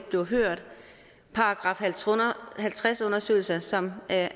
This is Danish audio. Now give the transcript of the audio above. bliver hørt § halvtreds undersøgelser som er